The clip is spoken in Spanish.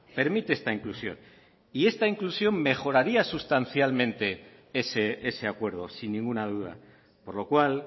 permite esta inclusión y esta inclusión mejoraría sustancialmente ese acuerdo sin ninguna duda por lo cual